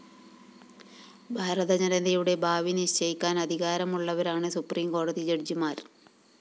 ഭാരത ജനതയുടെ ഭാവി നിശ്ചയിക്കാന്‍ അധികാരമുള്ളവരാണ് സുപ്രീംകോടതി ജഡ്ജിമാര്‍